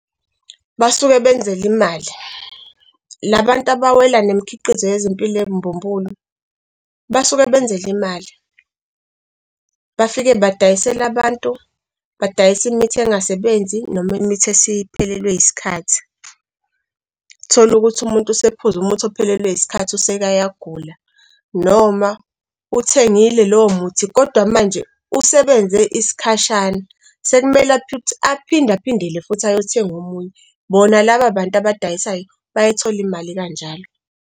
Basuke benzela imali. La bantu abawela nemikhiqizo yezempilo embumbulu basuke benzela imali. Bafike badayisele abantu, badayisa imithi engasebenzi noma imithi esiphelelwe isikhathi. Uthola ukuthi umuntu usephuza umuthi ophelelwe isikhathi useke uyagula, noma uwuthengile lowo muthi kodwa manje usebenze isikhashana sekumele aphinde aphindele futhi ayothenga omunye. Bona laba abantu abadayisayo bayayithola imali kanjalo.